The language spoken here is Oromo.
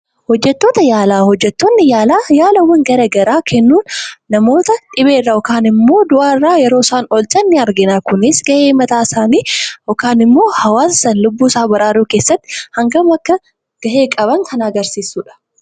Hojjattoonni yaalaa yaalaawwan garaagaraa kennuu namoota dhibee irraa yookiin du'arraa yeroo isaan oolchan ni agarra. Kunis gahee mataa isaa fi yookiin immoo hawaasa lubbuu isaa baraaruu keessatti hagam akka gahee qaban kan agarsiisudha.